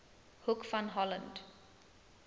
hoek van holland